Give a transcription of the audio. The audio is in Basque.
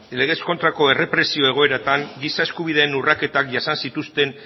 legez kontrako errepresio egoeratan giza eskubideen urraketan jasan zituzten